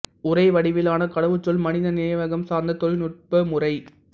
உரை வடிவிலான கடவுச்சொல் மனித நினைவகம் சார்ந்த தொழில்நுட்ப முறை